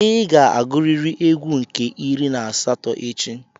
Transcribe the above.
Ị ga-agụrịrị égwú nke iri na asatọ echi.